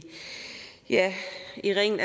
i ringen